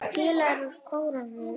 Félagar úr kórnum Ægisif syngja.